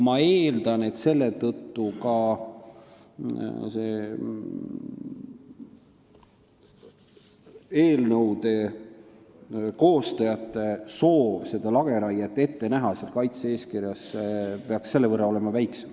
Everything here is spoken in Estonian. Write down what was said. Ma eeldan, et seetõttu peaks ka eelnõude koostajate soov kaitse-eeskirjas lageraiet ette näha olema selle võrra väiksem.